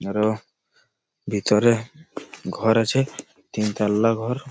এর ভিতর ঘর আছে তিন তলা ঘর।